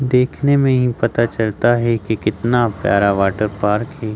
देखने में इ पता चलता है कि कितना प्यारा वाटर पार्क हैं।